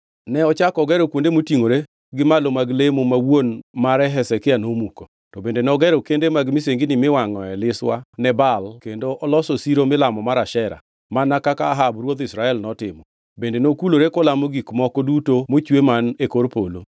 Ne ochako ogero kuonde motingʼore gi malo mag lemo ma wuon mare Hezekia nomuko; to bende nogero kende mag misengini miwangʼoe liswa ne Baal kendo oloso siro milamo mar Ashera, mana kaka Ahab ruodh Israel notimo; bende nokulore kolamo gik moko duto mochwe man e kor polo.